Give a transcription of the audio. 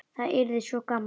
Það yrði svo gaman.